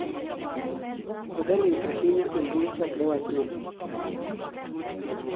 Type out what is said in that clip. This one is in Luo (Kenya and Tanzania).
Oseling' ahinya e mbui chakre wach no